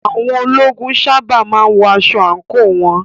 Àwọn ológun sábà má ń wọ aṣọ àǹkóò wọn.